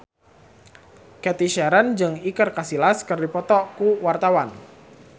Cathy Sharon jeung Iker Casillas keur dipoto ku wartawan